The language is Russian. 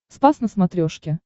спас на смотрешке